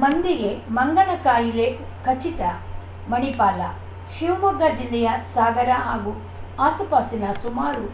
ಮಂದಿಗೆ ಮಂಗನಕಾಯಿಲೆ ಖಚಿತ ಮಣಿಪಾಲ ಶಿವಮೊಗ್ಗ ಜಿಲ್ಲೆಯ ಸಾಗರ ಹಾಗೂ ಆಸುಪಾಸಿನ ಸುಮಾರು